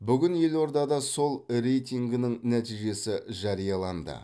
бүгін елордада сол рейтингінің нәтижесі жарияланды